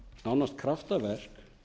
nánast kraftaverk